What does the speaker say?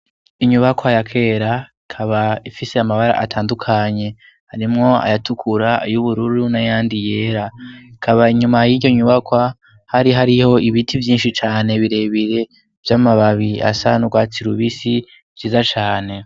Inyubakwa ya kera, ikaba ifise amabara atandukanye harimwo ayatukura, ay'ubururu n'ayandi yera. Hakaba inyuma y'iryo nyubakwa, hari hariho ibiti vyinshi cane birebire vy'amababi asa n'urwatsi rubisi vyiza cane.